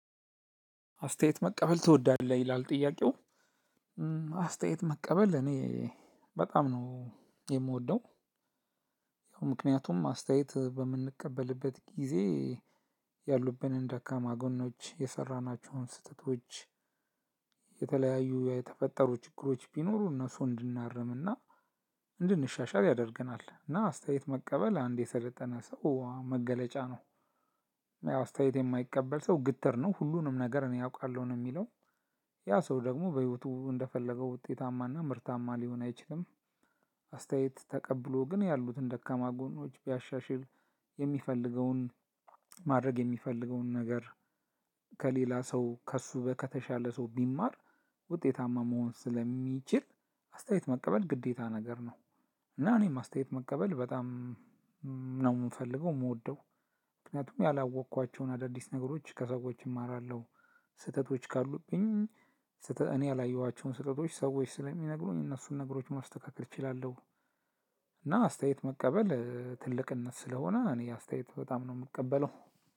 "አስተያየት መቀበል ትወዳለህ?" ይላል ጥያቄው። አስተያየት መቀበል እኔ በጣም ነው የምወደው። ያው ምክንያቱም አስተያየት በምንቀበልበት ጊዜ ያሉብንን ደካማ ጎኖች የሰራናቸውን ስህተቶች የተለያዩ የተፈጠሩ ችግሮች ቢኖሩ እነሱን እንድናርምና እንድንሻሻል ያደርገናል፤ እና አስተያየት መቀበል አንድ የሰለጠነ ሰው መገለጫ ነው። ያው አስተያየት የማይቀበል ሰው ግትር ነው። ሁሉንም ነገር እኔ አውቃለሁ ነው የሚለው። ያ ሰው ደግሞ በህይወቱ እንደፈለገው ውጤታማና ምርታማ ሊሆን አይችልም። አስተያየት ተቀብሎ ግን ያሉትን ደካማ ጎኖች ቢያሻሽል የሚፈልገውን ማድረግ የሚፈልገውን ነገር ከሌላ ሰው ከእሱ በ ከተሻለ ሰው ቢማር ውጤታማ መሆን ስለሚችል አስተያየት መቀበል ግዴታ ነገር ነው፤ እና እኔም አስተያየት መቀበል በጣም ነው የምፈልገው የምወደው። ምክንያቱም ያላወቅኳቸውን አዳዲስ ነገሮች ከሰዎች እማራለሁ፣ ስህተቶች ካሉብኝ እኔ ያላየኋቸውን ስህተቶች ሰዎች ስለሚነግሩኝ እነሱን ነገሮች ማስተካከል እችላለሁ። እና አስተያየት መቀበል ትልቅነት ስለሆነ እኔ አስተያየት በጣም ነው የምቀበለው።